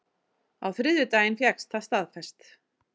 Á þriðjudaginn fékkst það staðfest